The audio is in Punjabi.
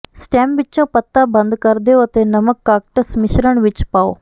ਸਟੈਮ ਵਿਚੋਂ ਪੱਤਾ ਬੰਦ ਕਰ ਦਿਓ ਅਤੇ ਨਮਕ ਕਾਕਟਸ ਮਿਸ਼ਰਣ ਵਿੱਚ ਪਾਓ